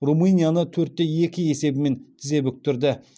румынияны төрт те екі есебімен тізе бүктірді